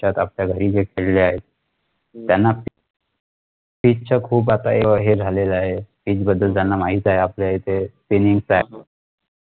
त्या आपल्या घरी जे खेळले आहेत त्यांना field चे आता हे खुप झालेलं आहे field बद्दल त्यांना माहित आहे आपल्या येथे feelings आहे